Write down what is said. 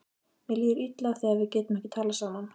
Mér líður illa þegar við getum ekki talað saman.